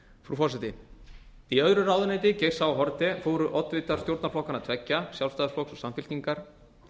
forseti í öðru ráðuneyti geirs h haarde fóru oddvitar stjórnarflokkanna tveggja sjálfstæðisflokks og samfylkingar